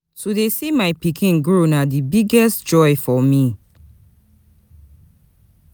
To dey see my pikin grow na di biggest joy for me.